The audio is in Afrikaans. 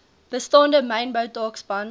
bestaande mynbou taakspan